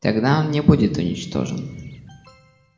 тогда он не будет уничтожен